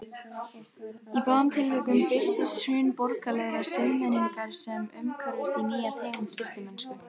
Í báðum tilvikum birtist hrun borgaralegrar siðmenningar sem umhverfist í nýja tegund villimennsku.